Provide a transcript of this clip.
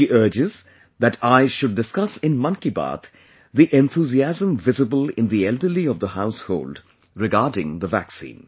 She urges that I should discuss in Mann ki Baat the enthusiasm visible in the elderly of the household regarding the vaccine